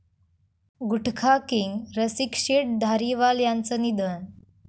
गुटखाकिंग रसिकशेठ धारीवाल यांचं निधन